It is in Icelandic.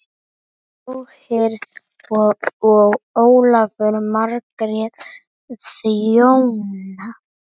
Þorgeir og Ólöf Margrét þjóna.